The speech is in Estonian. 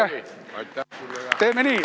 Eiki, aitäh!